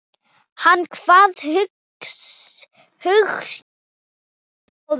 Hann kvað hugsjón ráða ferð.